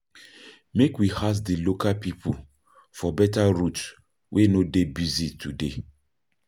Make we ask di local pipo for beta route wey no dey busy today.